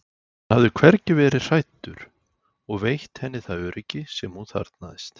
hann hafði hvergi verið hræddur og veitt henni það öryggi sem hún þarfnaðist.